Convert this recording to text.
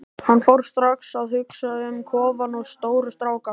Hann fór strax að hugsa um kofann og stóru strákana.